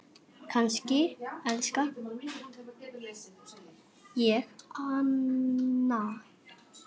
Kannski elska ég hana?